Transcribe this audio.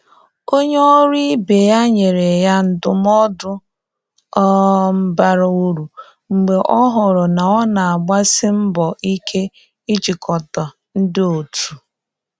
Onye ọrụ ibe ya nyere ya ndụmọdụ um bara uru mgbe ọ hụrụ na ọ na-agbasi mbọ ike ijikọta ndị otu.